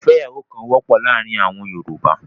ìfẹ́yàwókan kò wọ́pọ̀ láàárín àwọn Yorùbá.